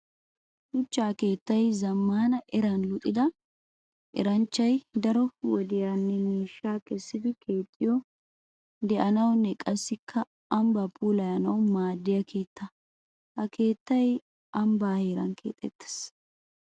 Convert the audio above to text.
Shuchcha keettay zamaana eran luxidda eranchchay daro wodiyanne miishsha kessiddi keexxiyo de'anawunne qassikka ambba puulawu maadiya keetta. Ha keettay ambba heeran keexxetees.